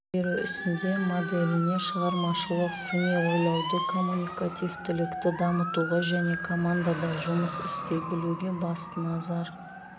білім беру ісінде моделіне шығармашылық сыни ойлауды коммуникативтілікті дамытуға және командада жұмыс істей білуге басты назар